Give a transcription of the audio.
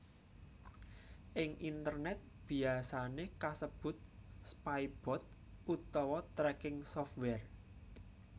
Ing internèt biyasané kasebut spybot utawa tracking software